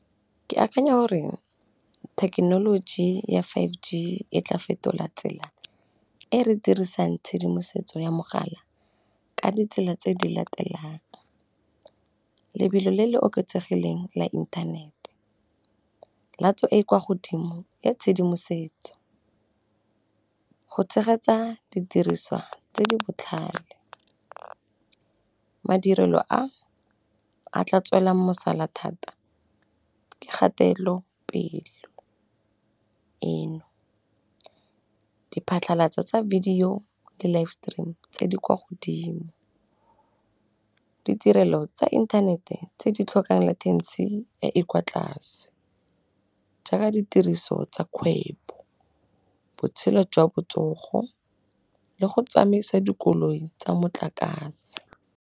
Ke akanya hore thekenoloji ya five G e tla fetola tsela e re dirisang tshedimosetso ya mogala ka ditsela tse di latelang, lebelo le le oketsegileng la inthanete, latso e e kwa godimo ya tshedimosetso, go tshegetsa didiriswa tse di botlhale, madirelo a a tla tswelang mosala thata ke kgatelopelo eno, di phatlhalatsa tsa video le live stream tse di kwa godimo, ditirelo tsa inthanete tse di tlhokang le tekesi e e kwa tlase jaaka ditiriso tsa kgwebo, botshelo jwa botsogo, le go tsamaisa dikoloi tsa motlakase.